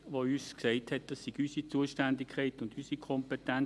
Er hat uns gesagt, es wäre unsere Zuständigkeit und unsere Kompetenz.